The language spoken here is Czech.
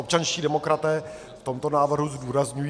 Občanští demokraté v tomto návrhu zdůrazňují...